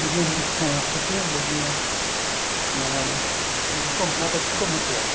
ਜਿਵੇਂ ਹੁਣ ਛੁੱਟੀਆਂ ਹੋ ਗਈਆਂ ਨਿਆਣਿਆਂ ਨੂੰ ਘੁੰਮਨਾ ਤਾਂ ਫ਼ੇਰ ਘੁੰਮ ਕੇ ਆਓ